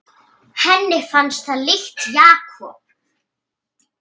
Henni fannst það líkt Jakob.